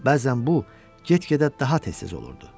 Bəzən bu, get-gedə daha tez-tez olurdu.